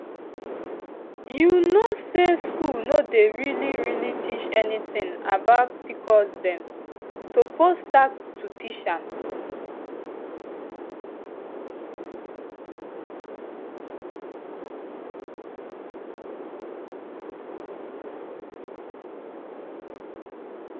you know say school no dey really really teach anything about pcosdem suppose start to teach am